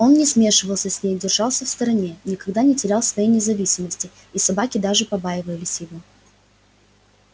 он не смешивался с ней держался в стороне никогда не терял своей независимости и собаки даже побаивались его